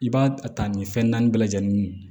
I b'a ta nin fɛn naani bɛɛ lajɛlen ye